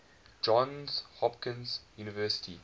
johns hopkins university